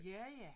Ja ja